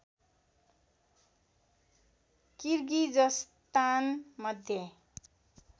Kyrgyzstan Madhya